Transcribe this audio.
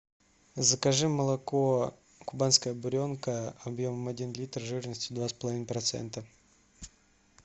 закажи молоко кубанская буренка объемом один литр жирностью два с половиной процента